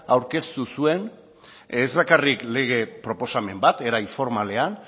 aurkeztu zuen ez bakarrik lege proposamen bat era informalean